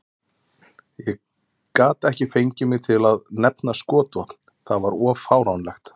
Ég gat ekki fengið mig til að nefna skotvopn, það var of fáránlegt.